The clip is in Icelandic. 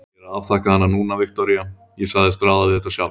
Ég er að afþakka hana núna, Viktoría, ég sagðist ráða við þetta sjálf.